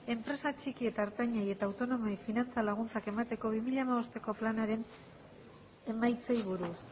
enpresa txiki eta ertainei eta autonomoei finantza laguntza emateko bi mila hamabosteko planaren emaitzei buruz